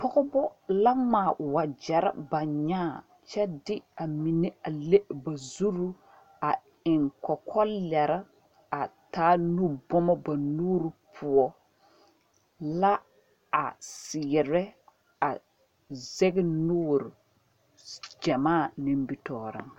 Pɔgeba la ŋmaa wagyɛre ba nyãã kyɛ de a mine a le ba zuri a eŋ kɔkɔlɛre a taa nubɔma ba nuuri poɔ la a seɛrɛ a zɛge nuuri gyamaa nimitɔɔreŋ.